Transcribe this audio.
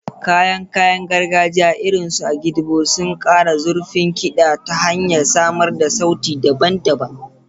Kayan kayan gargajiya, irin su agidigbo, suna ƙara zurfin kiɗa ta hanyar samar da sauti daban-daban.